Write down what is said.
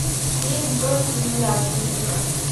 фильм кто если не я запусти ка